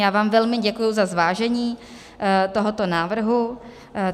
Já vám velmi děkuji za zvážení tohoto návrhu.